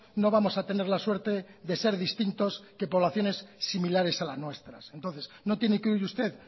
no vamos a tener la suerte de ser distintos que poblaciones similares a las nuestras entonces no tiene que oír usted